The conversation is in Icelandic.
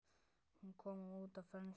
Hún kom út á frönsku